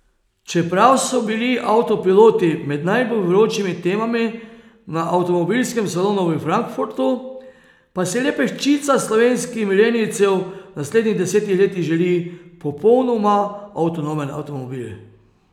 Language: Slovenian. Čeprav so bili avtopiloti med najbolj vročimi temami na avtomobilskem salonu v Frankfurtu, pa si le peščica slovenskih milenijcev v naslednjih desetih letih želi popolnoma avtonomen avtomobil.